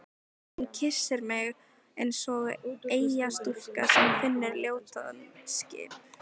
Hún kyssir mig eins og eyjastúlka sem finnur ljótan skip